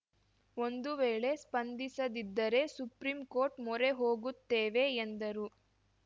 ಒಂದು ವೇಳೆ ಸ್ಪಂದಿಸದಿದ್ದರೆ ಸುಪ್ರೀಂ ಕೋರ್ಟ್‌ ಮೊರೆ ಹೋಗುತ್ತೇವೆ ಎಂದರು